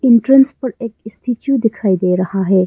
Entrance पर एक statue दिखाई दे रहा है।